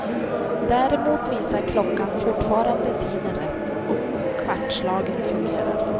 Däremot visar klockan fortfarande tiden rätt, och kvartslagen fungerar.